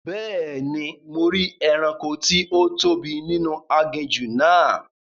Bẹ́ẹ̀ni, mo rí ẹranko tí ó tóbi ninu aginjù náà